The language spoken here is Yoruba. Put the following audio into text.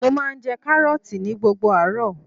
Mo máa ń jẹ Kárọ́ọ̀tì ní gbogbo àárọ̀.